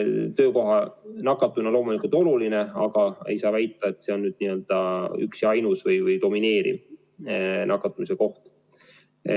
Töökohal nakatumine on loomulikult oluline, aga ei saa väita, et see on üks ja ainus või domineeriv nakatumise koht.